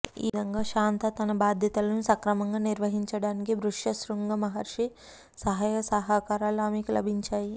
ఈ విధంగా శాంత తన బాధ్యతలను సక్రమంగా నిర్వహించటానికి ఋష్యశృంగ మహర్షి సహాయ సహకారాలు ఆమెకు లభించాయి